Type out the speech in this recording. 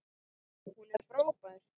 Hún er frábær!